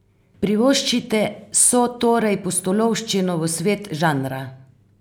Privoščite so torej pustolovščino v svet žanra!